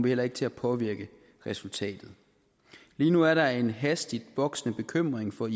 heller ikke til at påvirke resultatet lige nu er der en hastigt voksende bekymring for